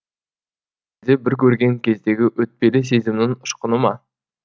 де бір көрген кездегі өтпелі сезімнің ұшқыны ма